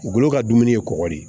U bolo ka dumuni ye kɔgɔ de